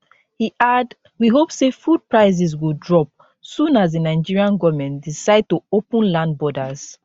e add we hope say food prices go drop soon as di nigerian goment don decide to open land borders